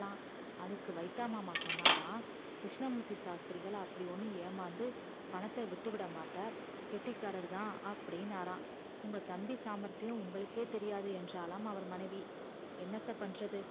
அதுக்கு வைத்தா மாமா சொன்னரா அப்டி ஒன்னும் ஏமாந்து பணத்த விட்டு விட மாட்டார் கெட்டிகாரர் தான் அப்டின்னாரா உங்க தம்பி சாம்பர்தியம் உங்களுகே தெரியாது என்றலாம் அவர் மணைவி